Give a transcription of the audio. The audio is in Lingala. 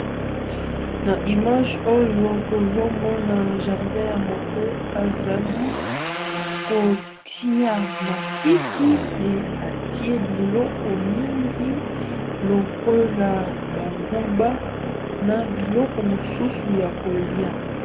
Na image oyo tozomona jardin ya moto azali kotia matiti pe atie biloko mingi lokola banguba na biloko mosusu ya kolia.